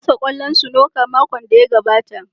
Na rasa kwallon snooker makon da ya gabata.